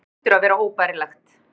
Það hlýtur að vera óbærilegt.